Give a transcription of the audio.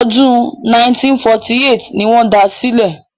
Ọdún 1948 ni wọ́n da sílẹ̀.